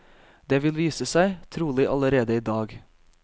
Det vil vise seg, trolig allerede i dag.